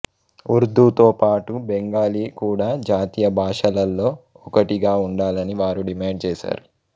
ఉర్దూతో పాటు బెంగాలీ కూడా జాతీయ భాషలలో ఒకటిగా ఉండాలని వారు డిమాండ్ చేశారు